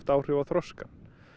áhrif á þroskann